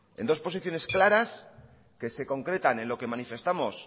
en dos posiciones claras que se concretan en lo que manifestamos